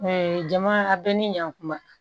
jama a bɛɛ ni ɲankuma